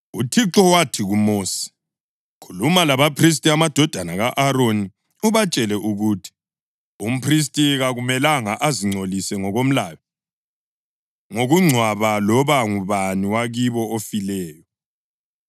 UThixo wathi kuMosi, “Khuluma labaphristi, amadodana ka-Aroni, ubatshele ukuthi: ‘Umphristi kakumelanga azingcolise ngokomlayo, ngokungcwaba loba ngubani wakibo ofileyo,